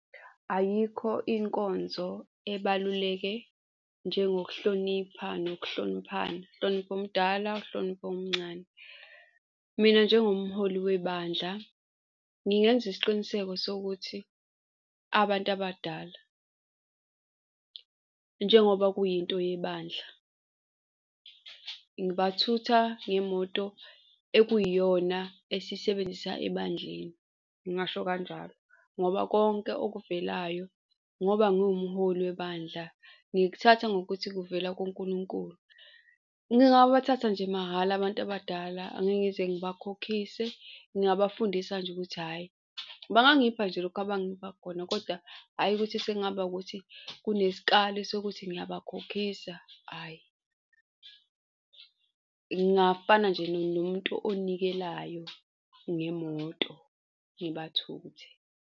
Ayikho inkonzo ebaluleke njengekuhlonipha nokuhloniphana, uhloniphe omdala uhloniphe omncane. Mina njengomholi webandla ngingenza isiqiniseko sokuthi abantu abadala njengoba kuyinto yebandla, ngibathutha ngemoto ekuyiyona esiyisebenzisa ebandleni, ngingasho kanjalo ngoba konke okuvelayo ngoba nguwumholi webandla, ngikuthatha ngokuthi kuvela kuNkulunkulu. Ngingabathatha nje mahhala abantu abadala, angeke ngize ngabakhokhise, ngingabafundisa nje ukuthi hhayi, bangangipha nje lokhu abangipha khona, kodwa hhayi, ukuthi sengaba ukuthi kunesikali sokuthi ngiyabakhokhisa. Hhayi ngingafana nje nomuntu onilekelayo ngemoto, ngibathuthe.